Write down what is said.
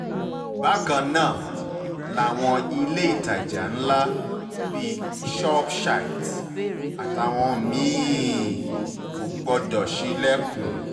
bákan náà làwọn ilé ìtajà ńlá bíi shopchité àtàwọn mí-ín kò gbọdọ̀ ṣílẹ̀kùn